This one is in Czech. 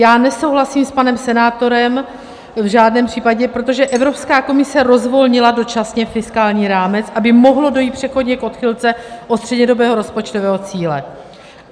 Já nesouhlasím s panem senátorem v žádném případě, protože Evropská komise rozvolnila dočasně fiskální rámec, aby mohlo dojít přechodně k odchylce od střednědobého rozpočtového cíle.